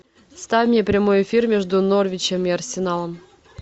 ставь мне прямой эфир между норвичем и арсеналом